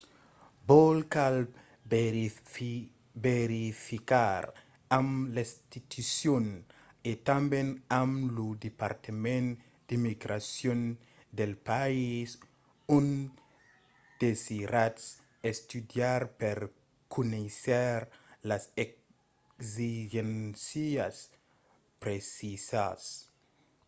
vos cal verificar amb l'institucion e tanben amb lo departament d'immigracion del país ont desiratz estudiar per conéisser las exigéncias precisas